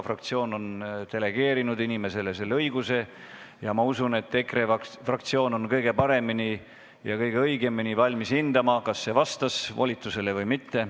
Fraktsioon on delegeerinud inimesele selle õiguse ja ma usun, et EKRE fraktsioon on kõige paremini ja kõige õigemini valmis hindama, kas see sõnavõtt vastas volitustele või mitte.